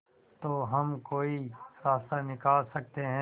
तो हम कोई रास्ता निकाल सकते है